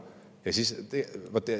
See on suur mure!